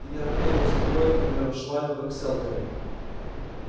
ты не равняй его с такой к примеру швалью как сэлттери